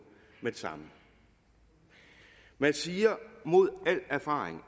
med det samme man siger mod al erfaring